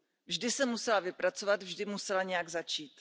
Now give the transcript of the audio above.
Vždy se musela vypracovat, vždy musela nějak začít.